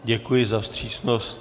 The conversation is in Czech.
Děkuji za vstřícnost.